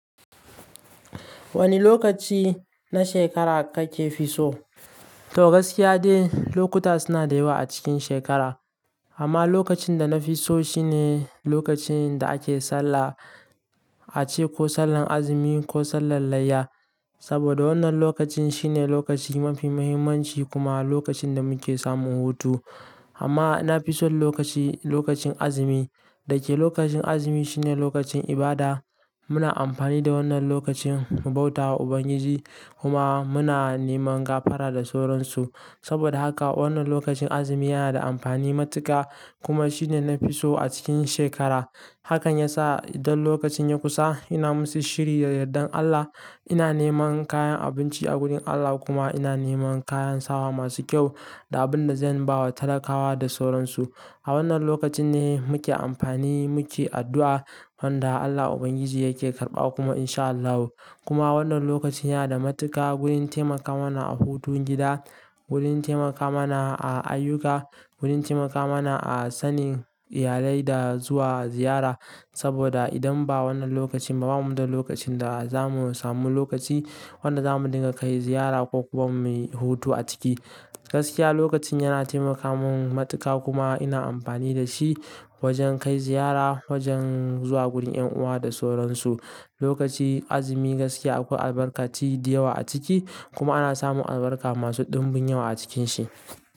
Wani lokaci na shekara kake fi so? To gaskiya dai lokuta suna da yawa a cikin shekara. Amma lokacin da na fi so shine lokacin da ake sallah, ace ko sallan azumi ko sallan layya. Saboda wannan lokacin shine lokaci mafi muhimmanci kuma lokacin da muke samun hutu. Amma na fi son lokaci, lokacin azumi. Dake lokacin azumi shine lokacin ibada. Muna amfani da wannan lokacin mu bauta wa Ubangiji kuma muna neman gafara da sauransu. Saboda haka wannan lokacin azumi yana da amfani matuƙa kuma shine na fi so a cikin shekara. Hakan ya sa idan lokacin ya kusa ina musu shiri da yardan Allah. Ina neman kayan abinci a gurin Allah kuma ina neman kayan sawa masu kyau da abin da zan bawa talakawa da sauransu. A wannan lokacin ne muke amfani muke addu'a wanda Allah Ubangiji yake karɓa kuma insha Allahu. Kuma wannan lokacin yana da matuƙa wurin taimaka mana a hutun gida, wurin taimaka mana a ayyuka, wurin taimaka mana a sanin iyalai da zuwa ziyara. Saboda idan ba wannan lokacin ba bamu da lokacin da za mu samu lokaci wanda za mu dinga kai ziyara ko kuma mu yi hutu a ciki. Gaskiya lokacin yana taimaka mun matuƙa kuma ina amfani da shi wajen kai ziyara, wajen zuwa gurin 'yan uwa da sauransu. Lokacin azumi gaskiya akwai albarkaci da yawa a ciki kuma ana samun albarka masu ɗimbin yawa a cikin shi.